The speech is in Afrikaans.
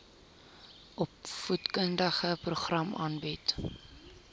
opvoedkundige programme aanbied